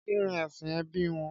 Kí ni ẹ̀sìn ẹbí wọn?